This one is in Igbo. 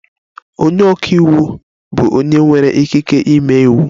Onye ọka iwu bụ onye nwere ikike ịme iwu.